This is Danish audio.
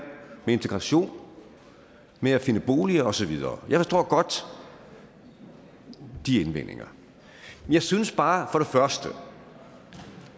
med integration med at finde boliger og så videre jeg forstår godt de indvendinger jeg synes bare for det første